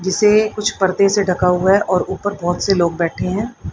जिसे कुछ पर्दे से ढका हुआ है और ऊपर बहोत से लोग बैठ हैं।